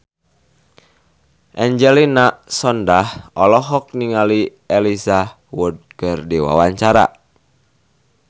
Angelina Sondakh olohok ningali Elijah Wood keur diwawancara